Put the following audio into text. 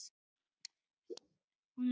Honum líður ekki vel núna.